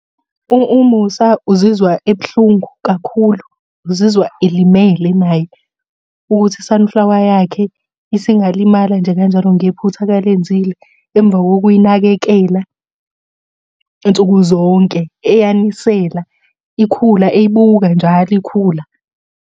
UMusa uzizwa ebuhlungu kakhulu, uzizwa elimele naye, ukuthi i-sunflower yakhe isingalimala nje kanjalo ngephutha akalenzile, emva kokuyinakekela nsuku zonke, eyanisela ikhula eyibuka njalo ikhula.